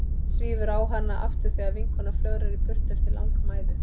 Svífur á hana aftur þegar vinkonan flögrar í burtu eftir langa mæðu.